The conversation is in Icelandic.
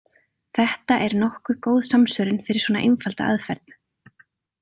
Þetta er nokkuð góð samsvörun fyrir svona einfalda aðferð.